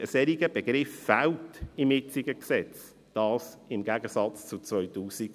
Ein solcher Begriff fehlt im jetzigen Gesetz, dies im Gegensatz zu 2009.